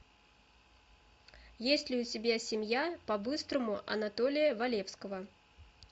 есть ли у тебя семья по быстрому анатолия валевского